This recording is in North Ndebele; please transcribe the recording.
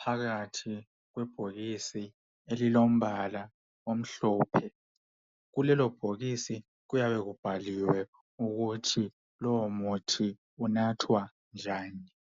phakathi kwe bhokisi elilombala omhlophe. Kulelo bhokisi kuyabe kubhaliwe ukuthi lowo muthi unathwa njani .